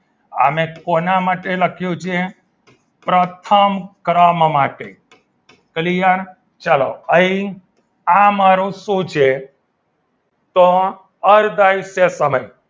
અને કોના માટે લખ્યું છે પ્રથમ ક્રમ માટે ભૂલી ગયા ચાલો અહીં આ મારું શું છે તો અર્ધ આયુષ્ય સમય